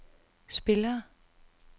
spillere